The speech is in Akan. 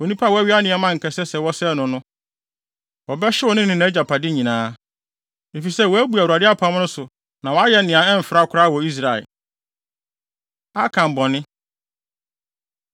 Onipa a wawia nneɛma a anka ɛsɛ sɛ wɔsɛe no no, wɔbɛhyew no ne nʼagyapade nyinaa, efisɛ wabu Awurade apam no so na wayɛ nea ɛmfra koraa wɔ Israel.’ ” Akan Bɔne